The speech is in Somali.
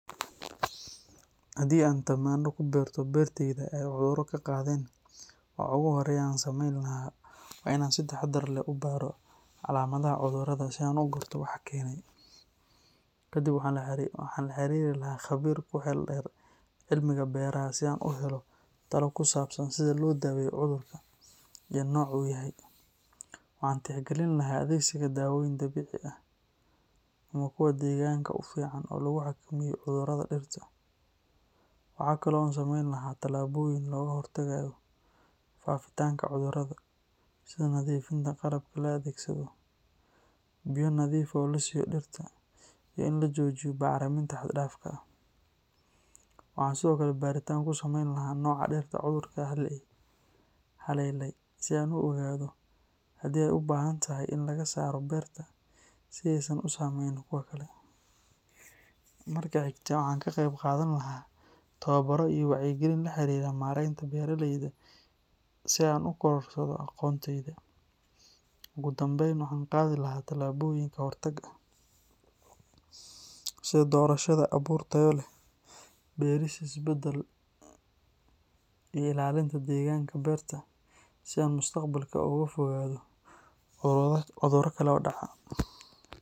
Haddii aan tamaandho ku beerto beertayda ay cudurro ka qaadeen, waxa ugu horreeya ee aan sameyn lahaa waa in aan si taxaddar leh u baadho calaamadaha cudurrada si aan u garto waxa keenay. Kadib waxaan la xiriiri lahaa khabiir ku xeel dheer cilmiga beeraha si aan u helo talo ku saabsan sida loo daaweeyo cudurka iyo nooca uu yahay. Waxaan tixgelin lahaa adeegsiga dawooyin dabiici ah ama kuwa deegaanka u fiican oo lagu xakameeyo cudurrada dhirta. Waxa kale oo aan sameyn lahaa tallaabooyin looga hortagayo faafitaanka cudurrada, sida nadiifinta qalabka la adeegsado, biyo nadiif ah oo la siiyo dhirta, iyo in la joojiyo bacriminta xad-dhaafka ah. Waxaan sidoo kale baaritaan ku samayn lahaa nooca dhirta cudurku haleelay si aan u ogaado haddii ay u baahantahay in laga saaro beerta si aysan u saameynin kuwa kale. Marka xigta, waxaan ka qeyb qaadan lahaa tababbaro iyo wacyigelin la xiriira maaraynta beeralayda si aan u kororsado aqoontayda. Ugu dambayn, waxaan qaadi lahaa tillaabooyin ka hortag ah, sida doorashada abuur tayo leh, beeris isbedbeddel leh, iyo ilaalinta deegaanka beerta si aan mustaqbalka uga fogaado cudurro kale oo dhaca.